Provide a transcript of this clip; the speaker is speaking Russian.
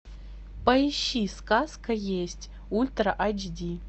поищи сказка есть ультра аш ди